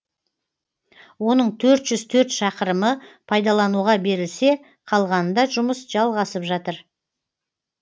оның төрт жүз төрт шақырымы пайдалануға берілсе қалғанында жұмыс жалғасып жатыр